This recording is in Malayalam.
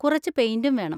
കുറച്ച് പെയിന്‍റും വേണം.